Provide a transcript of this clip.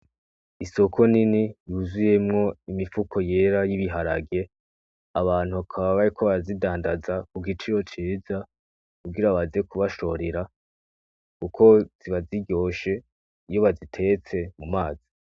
Isoko nini yuzuyemwo imifuko yera y'ibiharage abantu bakaba bariko barazidandaza kugiciro ciza kugira baze kubashorera kuko ziba ziryoshe iyo bazitetse mumazi